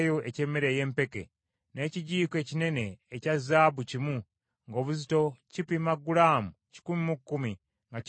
n’ekijiiko ekinene ekya zaabu kimu ng’obuzito kipima gulaamu kikumi mu kkumi, nga kijjudde ebyakaloosa;